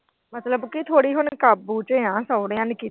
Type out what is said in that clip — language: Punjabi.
ਮਤਲਬ ਕਿ ਥੋੜੀ ਹੁਣ ਕਾਬੂ ਚ ਆ ਸਹੁਰਿਆ ਨੇ ਕੀਤੀ।